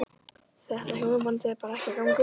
Þetta hjónaband er bara ekki að ganga upp.